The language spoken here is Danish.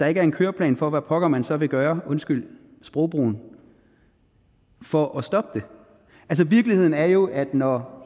ikke er en køreplan for hvad pokker man så vil gøre undskyld sprogbrugen for at stoppe det virkeligheden er jo at når